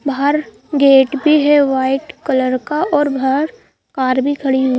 बाहर गेट भी है वाइट कलर का और बाहर कार भी खड़ी हुई--